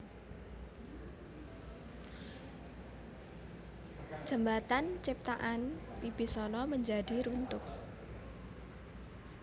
Jembatan ciptaan Wibisana menjadi runtuh